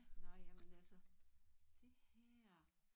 Nå ja men altså